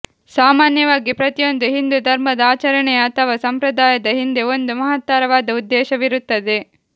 ಸಾಮಾನ್ಯವಾಗಿ ಪ್ರತಿಯೊಂದು ಹಿಂದೂ ಧರ್ಮದ ಆಚರಣೆಯ ಅಥವಾ ಸಂಪ್ರದಾಯದ ಹಿಂದೆ ಒಂದು ಮಹತ್ತರವಾದ ಉದ್ದೇಶವಿರುತ್ತದೆ